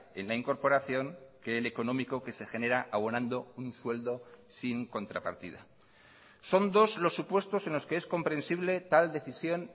en la incorporación que el económico que se genera abonando un sueldo sin contrapartida son dos los supuestos en los que es comprensible tal decisión